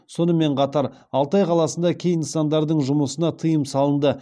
сонымен қатар алтай қаласында кей нысандардың жұмысына тыйым салынды